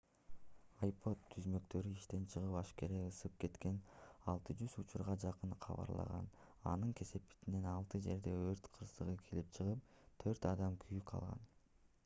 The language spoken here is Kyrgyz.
ipod түзмөктөрү иштен чыгып ашкере ысып кеткен 60 учурга жакын кабарланган анын кесепетинен алты жерде өрт кырсыгы келип чыгып төрт адам күйүк алган